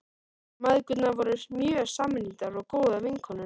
Mæðgurnar voru mjög samrýndar og góðar vinkonur.